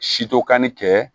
Sito kanli kɛ